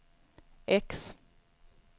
X